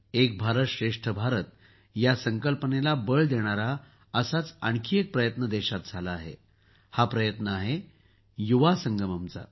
एक भारत श्रेष्ठ भारत या संकल्पनेला बळ देणारा असाच आणखी एक प्रयत्न देशात झाला आहे हा प्रयत्न आहे युवा संगमचा